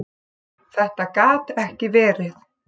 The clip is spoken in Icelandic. Þetta gat ekki verið!